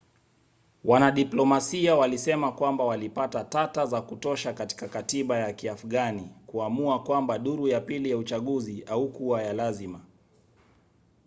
wanadiplomasia walisema kwamba walipata tata za kutosha katika katiba ya kiafgani kuamua kwamba duru ya pili ya uchaguzi haikuwa ya lazima